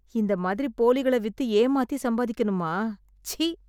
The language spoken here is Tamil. இந்த மாதிரி போலிகளை வித்து ஏமாத்தி சம்பாதிக்கணுமா! ச்சீ!